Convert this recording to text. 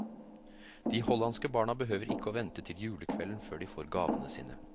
De hollandske barna behøver ikke å vente til julekvelden før de får gavene sine.